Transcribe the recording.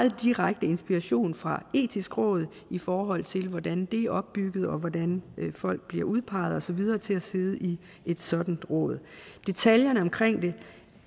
direkte inspiration fra det etiske råd i forhold til hvordan det er opbygget og hvordan folk bliver udpeget og så videre til at sidde i et sådant råd detaljerne omkring det